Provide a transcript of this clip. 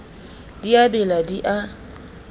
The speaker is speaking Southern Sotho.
di a bela di a